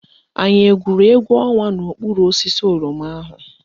Anyị egwuru égwú ọnwa n'okpuru osisi oroma ahụ?